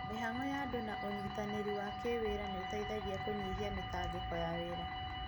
Mĩhango ya andũ na ũnyitanĩri wa kĩwĩra nĩ ũteithagiankũnyihia mĩtangĩko ya wĩra.